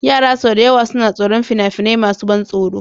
Yara sau da yawa suna tsoron fina-finai masu ban tsoro.